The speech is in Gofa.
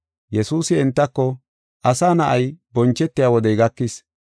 Yesuusi entako, “Asa Na7ay, bonchetiya wodey gakis.